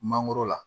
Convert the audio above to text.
Mangoro la